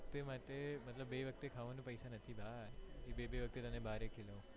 મતલબ બે વખતે ખાવાનું પૈસા નથી ભાઇ કે બે બે વખતે તને બહાર ખવડાવું